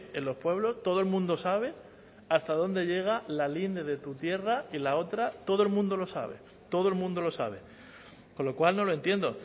en los pueblos todo el mundo sabe hasta dónde llega la linde de tu tierra y la otra todo el mundo lo sabe todo el mundo lo sabe con lo cual no lo entiendo